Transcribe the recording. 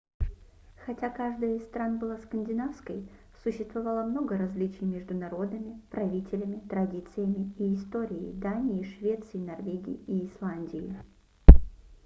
хотя каждая из стран была скандинавской существовало много различий между народами правителями традициями и историей дании швеции норвегии и исландии